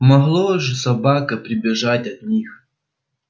могло же собака прибежать от них